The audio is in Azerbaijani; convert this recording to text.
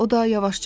O da yavaşca dedi.